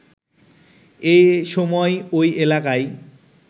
এ সময় ওই এলাকায়